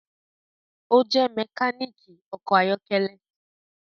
O jẹ mekaniki ọkọ ayọkẹlẹ